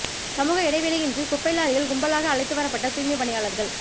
சமூக இடைவெளியின்றி குப்பை லாரியில் கும்பலாக அழைத்து வரப்பட்ட தூய்மை பணியாளர்கள்